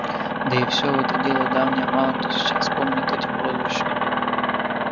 да и всё это дело давнее мало кто сейчас и вспомнит эти прозвища